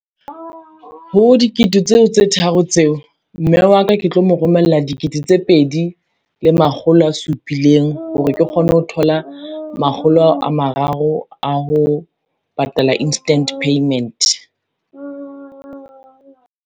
Ho dikete tseo tse tharo tseo, mme wa ka ke tlo mo romella dikete tse pedi le makgolo a supileng hore ke kgone ho thola makgolo ao a mararo a ho patala instant payment.